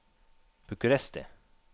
Bucuresti